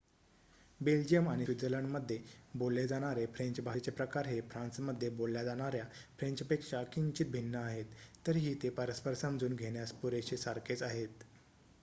Belgium आणि स्वित्झर्लंडमध्ये बोलले जाणारे फ्रेंच भाषेचे प्रकार हे फ्रान्समध्ये बोलल्या जाणार्‍या फ्रेंचपेक्षा किंचित भिन्न आहेत तरीही ते परस्पर समजून घेण्यास पुरेशे सारखेच आहेत